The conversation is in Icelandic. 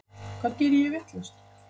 Hvað geri ég vitlaust?